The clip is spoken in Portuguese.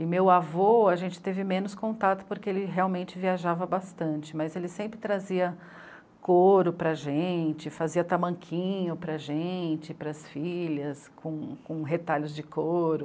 E meu avô, a gente teve menos contato porque ele realmente viajava bastante, mas ele sempre trazia couro para gente, fazia tamanquinho para gente, para as filhas, com retalhos de couro.